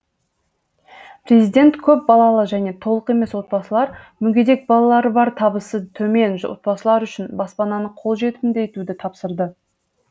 президент көпбалалы және толық емес отбасылар мүгедек балалары бар табысы төмен отбасылар үшін баспананы қолжетімді етуді тапсырды